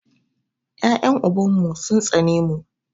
Yaƴen uban mu sun tsane mu.